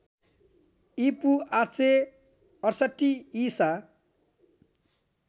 ईपू ८६८ ईसा